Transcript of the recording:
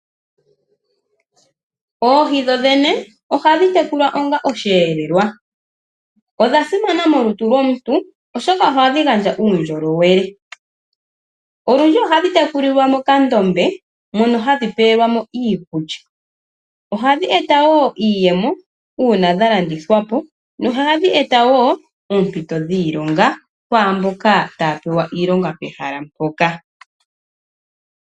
Oohi dho dhene ohadhi tekulwa onga osheelelwa. Odha simana molutu lwomuntu oshoka ohadhi gandja uundjolowele. Olundji ohadhi tekulilwa mokadhiya mono hadhi pelwamo iikulya . Ohadhi eta woo iiyemo uuna dha landithwapo ,no hadhi eta woo oompito dhiilonga kwaamboka taya pewa iilonga pehala mpoka.